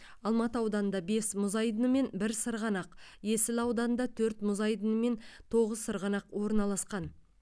алматы ауданында бес мұз айдыны мен бір сырғанақ есіл ауданында төрт мұз айдыны мен тоғыз сырғанақ орналасқан